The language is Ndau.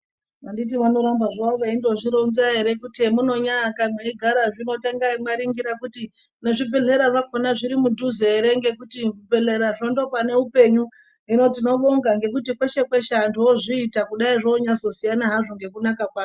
Anditi vanoramba zvavo veindozvironza ere kuti hemunyaaka mweigara zvino tangai mwaringira kuti vezvibhehlera vakhona zviri mudhuze ere ngekuti zvibhedhlerazvo ndopane upenyu, hino tinobonga ngekuti kweshe kweshe anthu vozviita kudai zvoonyazosiyana hazvo ngekunaka kwazvo.